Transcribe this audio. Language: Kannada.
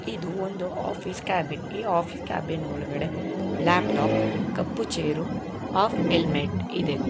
ಇದು ಒಂದು ಆಫೀಸ್ ಕ್ಯಾಬಿನ್ ಈ ಆಫೀಸ್ ಕ್ಯಾಬಿನ್ ಒಳಗಡೆ ಲ್ಯಾಪ್ಟಾಪ್ ಕಪ್ಪು ಚೇರು ಹಾಫ್ ಹೆಲ್ಮೆಟ್ ಇದೆ.